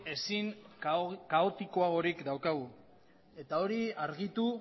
ezin kaotikoagorik daukagu eta hori argitu